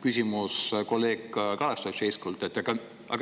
kolleeg Kalev Stoicescu küsimus.